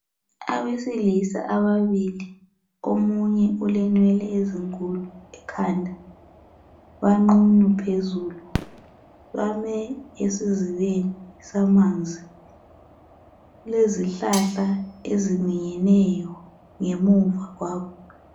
Abesilisa ababili omunye ulenwele ezinkulu ekhanda banqunu phezulu. Bame esizibeni samanzi. Kulezihlahla eziminyeneyo emva kwabo.